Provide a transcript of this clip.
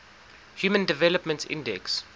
human development index